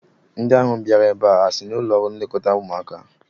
Ndị ahụ bịara ebe a ha si n'ụlọ nlekọta ụmụaka?